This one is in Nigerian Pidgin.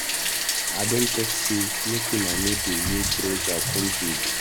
I don talk say make una no dey wear trouser come here.